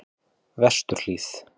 Vesturhlíð